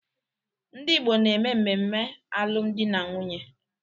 Ndị Igbo na-eme mmemme alụ m dị na nwunye.